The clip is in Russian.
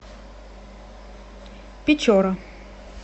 печора